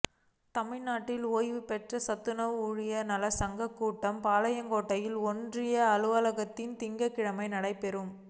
தமிழ்நாடு ஓய்வுபெற்ற சத்துணவு ஊழியா் நலச் சங்கக் கூட்டம் பாளையங்கோட்டை ஒன்றிய அலுவலகத்தில் திங்கள்கிழமை நடைபெற்றது